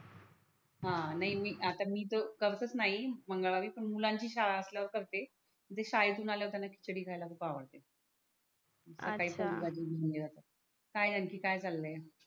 हा नाही मी आता मी तर करतच नाही मंगळवारी पण मुलांनाची शाळा असल्या वर करते म्हणजे शाळेतून आल्या वर त्यांना खिचडी ख्याला खूप आवडते. दुसर काही अच्छा काय आणखि काय चालय?